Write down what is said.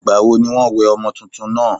ìgbà wo ní wọ́n wẹ ọmọ túntún náà?